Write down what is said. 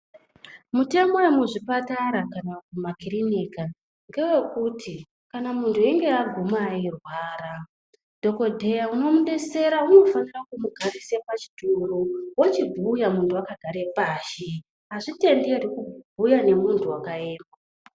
Mitemo yemuzvioatara kana makiriniki ndeye kuti kana muntu achinge agume eirwara dhokodheya u omudetsera unofana kumugarisa pachituru achinbhuya muntu akagara pashi azvitenderwi kubhuya muntu akaema.